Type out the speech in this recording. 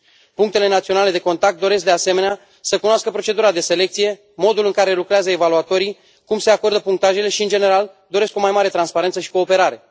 Punctele naționale de contact doresc, de asemenea, să cunoască procedura de selecție, modul în care lucrează evaluatorii, cum se acordă punctajele și, în general, doresc o mai mare transparență și cooperare.